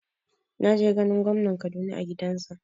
Na je ganin gwamnan Kaduna a gidansa